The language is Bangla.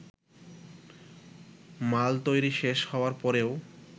মাল তৈরি শেষ হবার পরেও